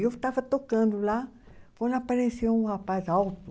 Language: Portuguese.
E eu estava tocando lá, quando apareceu um rapaz alto,